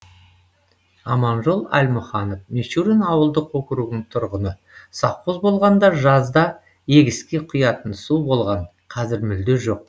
аманжол әлмұханов мичурин ауылдық округінің тұрғыны совхоз болғанда жазда егіске құятын су болған қазір мүлде жоқ